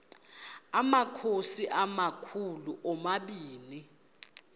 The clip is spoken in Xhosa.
amakhosi amakhulu omabini